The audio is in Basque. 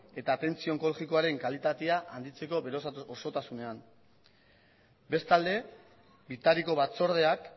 eta atentzio onkologikoaren kalitatea handitzeko bere osotasunean bestalde bitariko batzordeak